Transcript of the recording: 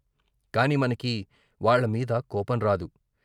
కాని మనకి వాళ్ళమీద కోపం రాదు.